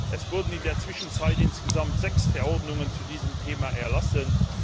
Es wurden in der Zwischenzeit insgesamt sechs Verordnungen zu diesem Thema erlassen.